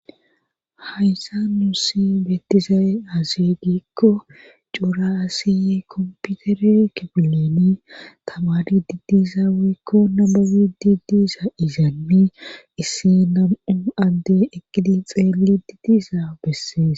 Hayssa nuussi beettiza'e hazegikko cora asiy komputere kibilini tamadi didizaweekko namabi didiisa izaanni issi nam'u adde eqqidi xeeli di diisa bessees.